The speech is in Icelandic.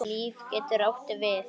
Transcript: Líf getur átt við